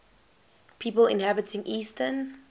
people inhabiting eastern